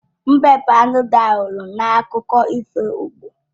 Mbe bụ anụ dị aghụghọ n'akụkọ ifo igbo